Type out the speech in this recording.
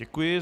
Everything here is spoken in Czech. Děkuji.